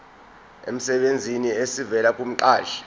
emsebenzini esivela kumqashi